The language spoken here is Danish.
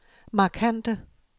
markante